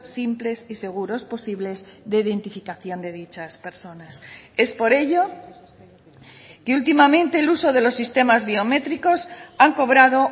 simples y seguros posibles de identificación de dichas personas es por ello que últimamente el uso de los sistemas biométricos han cobrado